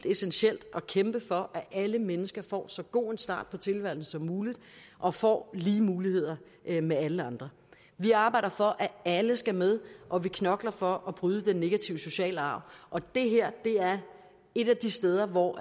essentielt at kæmpe for at alle mennesker får så god en start på tilværelsen som muligt og får lige muligheder med alle andre vi arbejder for at alle skal med og vi knokler for at bryde den negative sociale arv og det her er et af de steder hvor